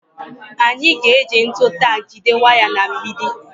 Anyị ga-eji ntu tak jide waya na mgbidi